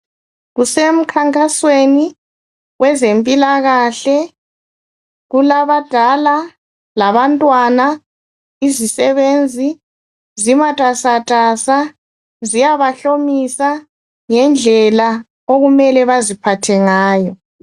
Kusemkhankasweni wezempilakahle .Kulabadala labantwana izisebenzi zimatasatasa ziyabahlomisa ngendlela okumele baziphathe ngayo .